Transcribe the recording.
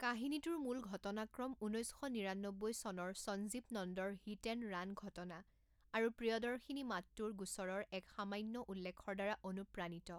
কাহিনীটোৰ মূল ঘটনাক্ৰম ঊনৈছ শ নিৰান্নব্বৈ চনৰ সঞ্জীৱ নন্দৰ হিট এণ্ড ৰাণ ঘটনা আৰু প্ৰিয়দৰ্শিনী মাট্টুৰ গোচৰৰ এক সামান্য উল্লেখৰ দ্বাৰা অনুপ্ৰাণিত।